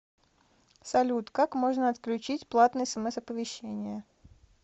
салют как можно отключить платные смс оповещения